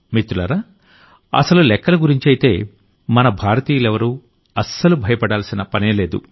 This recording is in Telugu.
మిత్రులారా అసలు లెక్కల గురించైతే మన భారతీయులెవరూ అస్సలు భయపడాల్సిన పనేలేదు